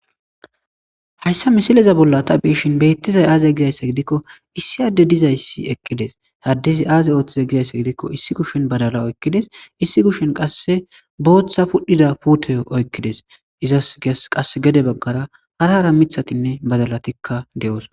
Hayssa misileza bolla tabhishin beettizay aaze gizayssa gidikko issi adde dizayssi eqqides haddezi aaze ooththiza gizayssa gidikko issi kushshen badala oykkides issi kushshen qasse booththa pudhdhida pute oykkides izas ges qass gede baggara harara mithatinne bazalatikka de,oos.